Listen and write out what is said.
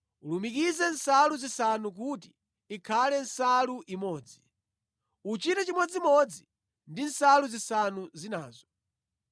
Ulumikize nsalu zisanu kuti ikhale nsalu imodzi. Uchite chimodzimodzi ndi nsalu zisanu zinazo.